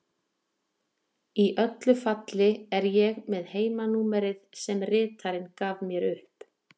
Í öllu falli er ég með heimanúmerið sem ritarinn gaf mér upp.